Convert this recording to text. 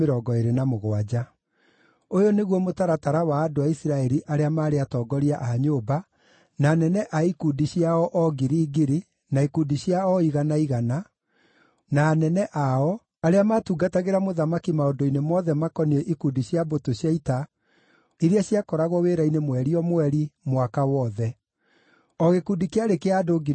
Ũyũ nĩguo mũtaratara wa andũ a Isiraeli arĩa maarĩ atongoria a nyũmba, na anene a ikundi cia o ngiri ngiri na ikundi cia o igana igana, na anene ao, arĩa maatungatagĩra mũthamaki maũndũ-inĩ mothe makoniĩ ikundi cia mbũtũ cia ita iria ciakoragwo wĩra-inĩ mweri o mweri, mwaka wothe. O gĩkundi kĩarĩ kĩa andũ 24,000.